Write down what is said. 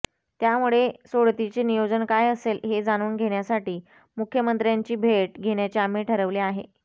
त्यामुळे सोडतीचे नियोजन काय असेल हे जाणून घेण्यासाठी मुख्यमंत्र्यांची भेट घेण्याचे आम्ही ठरवले आहे